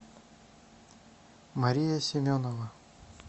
мария семенова